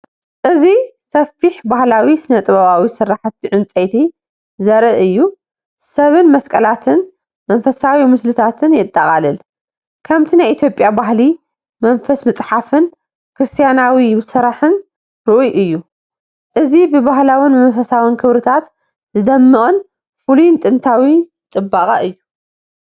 እዚ ሰፊሕ ባህላዊ ስነ-ጥበባዊ ስርሓት ዕንጨይቲ ዘርኢ እዩ። ሰብን መስቀላትን መንፈሳዊ ምስልታትን የጠቓልል። ከምቲ ናይ ኢትዮጵያ ባህሊ፡ መንፈስ ምጽሓፍን ክርስትያናዊ ስራሕን ርኡይ እዩ። እዚ ብባህላውን መንፈሳውን ክብርታት ዝደምቕ ፍሉይን ጥንታዊን ጽባቐ እዩ።